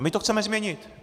A my to chceme změnit.